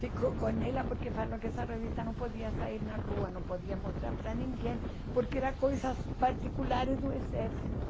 Ficou com ela porque falou que essa revista não podia sair na rua, não podia mostrar para ninguém, porque eram coisas particulares do exército.